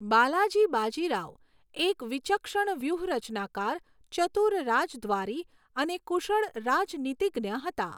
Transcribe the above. બાલાજી બાજીરાવ એક વિચક્ષણ વ્યૂહરચનાકાર, ચતુર રાજદ્વારી અને કુશળ રાજનીતિજ્ઞ હતા.